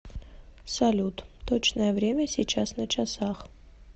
салют точное время сейчас на часах